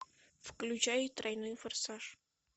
включай тройной форсаж